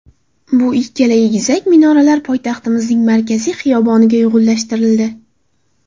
Bu ikkala egizak minoralar poytaxtimiz markaziy xiyoboniga uyg‘unlashtirildi.